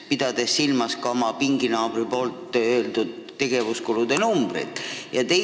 Ma pean seda küsides silmas ka oma pinginaabri viidatud tegevuskulude näitajaid.